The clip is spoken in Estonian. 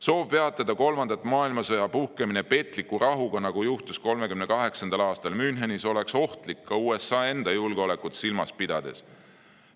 Soov peatada kolmanda maailmasõja puhkemine petliku rahuga, nagu juhtus 1938. aastal Münchenis, oleks ohtlik ka USA enda julgeolekut silmas pidades.